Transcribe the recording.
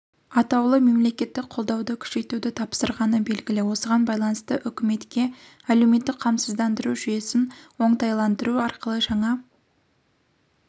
атаулы мемлекеттік қолдауды күшейтуді тапсырғаны белгілі осыған байланысты үкіметке әлеуметтік қамсыздандыру жүйесін оңтайландыру арқылы жаңа